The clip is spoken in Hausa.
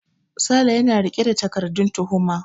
Sale yana riƙe da takardan tuhuma.